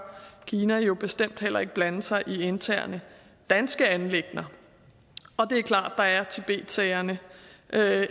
kina jo bestemt heller ikke blande sig i interne danske anliggender og det er klart at der er tibetsagerne